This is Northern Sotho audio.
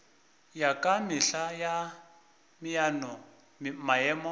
ya ka mehla ya maemo